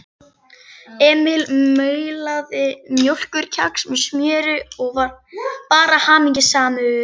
Emil maulaði mjólkurkex með smjöri og var bara hamingjusamur.